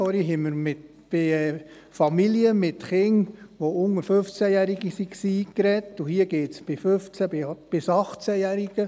Vorhin haben wir über Familien mit Kindern unter 15 Jahren gesprochen, und hier geht es um 15- bis 18-Jährige.